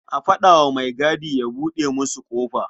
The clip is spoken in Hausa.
A faɗa wa maigadi ya buɗe musu ƙofa.